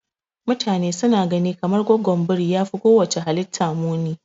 Mutane suna gani kamar gwaggon biri yafi kowacce halitta muni.